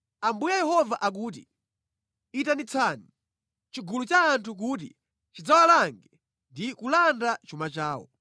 “Ambuye Yehova akuti: Itanitsani chigulu cha anthu kuti chidzawalange ndi kulanda chuma chawo.